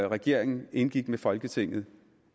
regeringen indgik med folketinget